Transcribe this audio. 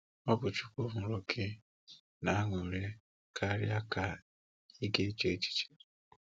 Ọ̀ bụ́ Chúkwú hụrụ́ gị n’ànụ́rị́ karịa ka ị̀ ga-eche echiche.